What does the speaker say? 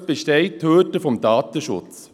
Ansonsten besteht die Hürde des Datenschutzes.